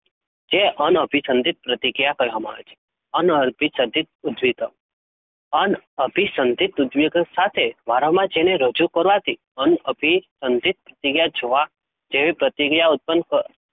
જે અન અંભ સંદીત પ્રતિકિયા કેહવામાં આવે છે? અન અર્પિત સંઘ્યા, ઉજવી દઉં અન અભી સંદિધ ઉજ્જવી સાથે રજૂ કરવાં થી અન અભી સંધિત ક્રીયા જોવા પ્રતિક્રિયા,